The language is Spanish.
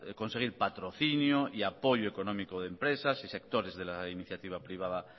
conseguir patrocinio y apoyo económico de empresas y sectores de la iniciativa privada